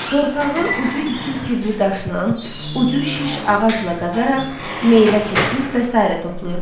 Torpağı ucu iti sivri daşla, ucu şiş ağacla qazaraq meyvə kökü və sair toplayırdılar.